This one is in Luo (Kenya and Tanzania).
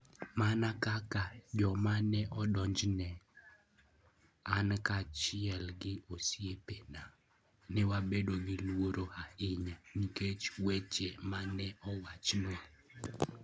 Mana kaka "joma ne odonjne, " an kaachiel gi osiepena ne wabedo gi luoro ahinya nikech weche ma ne owachnwa.